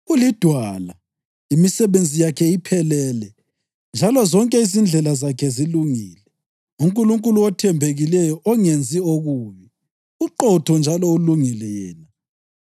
UliDwala, imisebenzi yakhe iphelele, njalo zonke izindlela zakhe zilungile. UNkulunkulu othembekileyo ongenzi okubi, uqotho njalo ulungile yena.